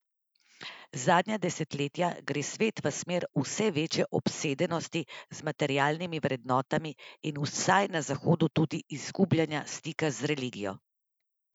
Zadnja desetletja gre svet v smer vse večje obsedenosti z materialnimi vrednotami in vsaj na zahodu tudi izgubljanja stika z religijo.